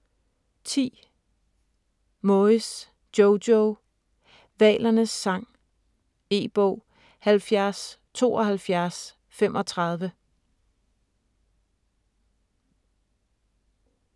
10. Moyes, Jojo: Hvalernes sang E-bog 707235